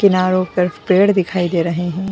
किनारो पे पेड़ दिखाई दे रहे हैं।